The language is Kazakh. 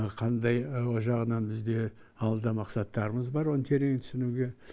қандай о жағынан бізде алда мақсаттарымыз бар оны терең түсінуге